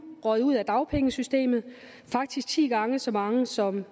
røget ud af dagpengesystemet faktisk ti gange så mange som